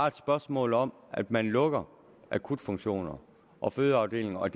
et spørgsmål om at man lukker akutfunktioner og fødeafdelinger og